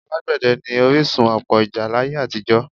Alágbẹ̀dẹ́ ni orísun ọ̀pọ̀ ìjà láyé àtijọ́